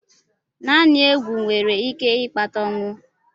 Naanị egwu nwere ike ịkpata ọnwụ.